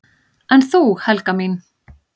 """En þú, Helga mín?"""